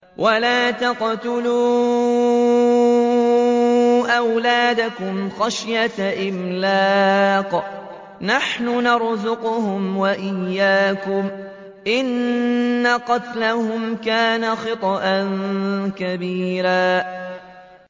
وَلَا تَقْتُلُوا أَوْلَادَكُمْ خَشْيَةَ إِمْلَاقٍ ۖ نَّحْنُ نَرْزُقُهُمْ وَإِيَّاكُمْ ۚ إِنَّ قَتْلَهُمْ كَانَ خِطْئًا كَبِيرًا